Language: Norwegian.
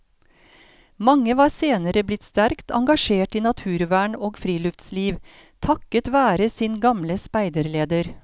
Mange var senere blitt sterkt engasjert i naturvern og friluftsliv, takket være sin sin gamle speiderleder.